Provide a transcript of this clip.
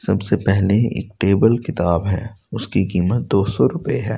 सबसे पहले एक टेबल किताब है उसकी कीमत दो सो रुपए है।